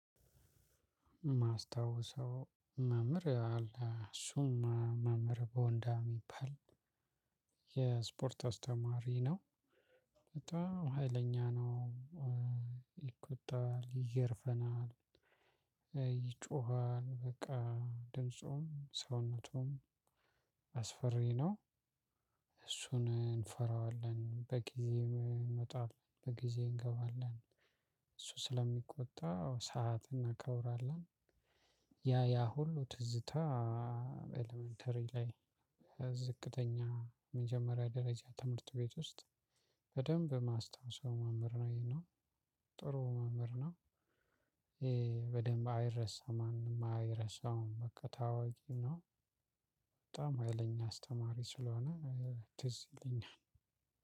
ማስታወሰው መምህር አለ እሱም መምህር በወንዳ የሚባል የስፖርት አስተማሪ ነው። በጣም ሀይለኛ ነው። ይገርፈናል። ይጮሃል በቃ ድምፁም ሰውነቱም አስፈሪ ነው። እሱን እንፈራዋለን በጊዜ ይመጣል በጊዜ እንገባለን። እሱ ስለሚቆጣ ሰዓት እናከብራለን። ያ ያ ሁሉ ትዝታ። ኤለመንተሪ ላይ ዝቅተኛ የመጀመሪያ ደረጃ ትምህርት ቤት ውስጥ። በደንብ ማስታውሰው መምህር ነው ይሄኛው ጥሩ መምህር ነው። በደንብ አይረሳም ማንም አይረሳውም በቃ ታዋቂ ነው። በጣም ሀይለኛ አስተማሪ ስለሆነ ትዝ ይለኛል።